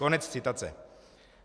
Konec citace.